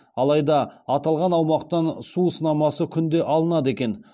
алайда аталған аумақтан су сынамасы күнде алынады екен